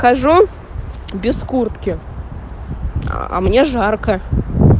хожу без куртки а мне жарко